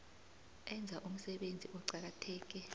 enza umsebenzi oqakatheke